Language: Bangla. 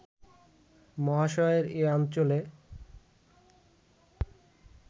মহাশয়ের এ অঞ্চলে